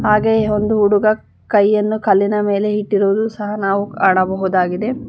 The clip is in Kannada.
ಹಾಗೆಯೆ ಒಂದು ಹುಡುಗ ಕೈಯನ್ನು ಕಲ್ಲಿನ ಮೇಲೆ ಇಟ್ಟಿರೋದು ಸಹ ನಾವು ಕಾಣಬಹುದಾಗಿದೆ.